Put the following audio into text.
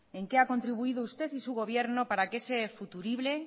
en qué a contribuido usted y su gobierno para que ese futurible